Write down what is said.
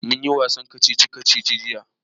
Mun yi wasan kacici-kacici jiya